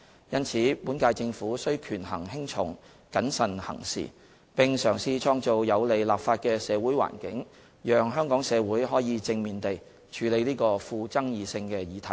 因此，本屆政府須權衡輕重、謹慎行事，並嘗試創造有利立法的社會環境，讓香港社會可以正面地處理這個富爭議性的議題。